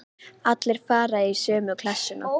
Allt fari í sömu klessuna.